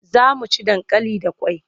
Za mu ci dankali da kwai.